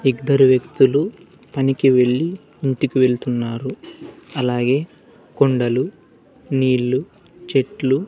ఇద్దరు వ్యక్తులు పనికి వెళ్లి ఇంటికి వెళ్తున్నారు అలాగే కొండలు నీళ్లు చెట్లు.